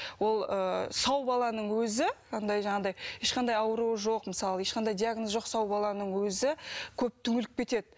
ол ы сау баланың өзі анадай жаңағыдай ешқандай ауруы жоқ мысалы ешқандай диагнозы жоқ сау баланың өзі көп түңіліп кетеді